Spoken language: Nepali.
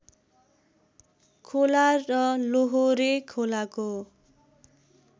खोला र लोहोरे खोलाको